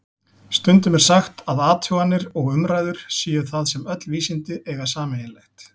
Stundum er sagt að athuganir og umræður séu það sem öll vísindi eiga sameiginlegt.